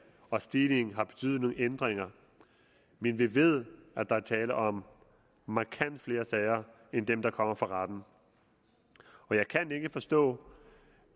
og stigningen har betydet nogle ændringer men vi ved at der er tale om markant flere sager end dem der kommer for retten jeg kan ikke forstå